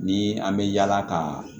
Ni an bɛ yaala ka